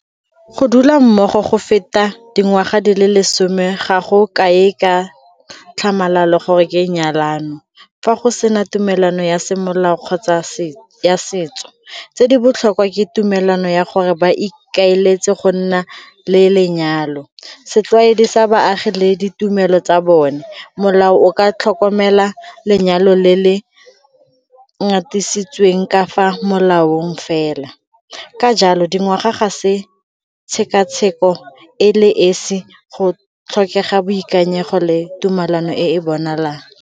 Go dula mmogo go feta dingwaga di le lesome ga go kae ka tlhamalalo gore ke nyalano fa go sena tumelano ya semolao kgotsa ya setso. Tse di botlhokwa ke tumelano ya gore ba ikaeletse go nna le lenyalo. Setlwaedi sa baagi le ditumelo tsa bone, molao o ka tlhokomela lenyalo le le ngatisitsweng ka fa laolang fela. Ka jalo, dingwaga ga se tshekatsheko e le esi go tlhokega boikanyego le tumalano e e bonagalang.